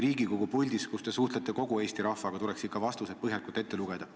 Riigikogu puldis, kus te suhtlete kogu Eesti rahvaga, tuleks vastused ikka põhjalikult ette lugeda.